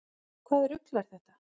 Hvaða rugl er þetta?